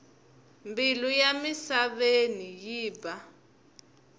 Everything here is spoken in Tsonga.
mbilu ya misaveni yi ba